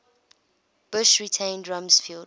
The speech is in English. bush retained rumsfeld